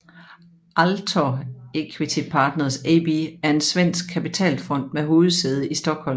Altor Equity Partners AB er en svensk kapitalfond med hovedsæde i Stockholm